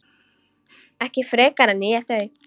Ekki frekar en ég þau.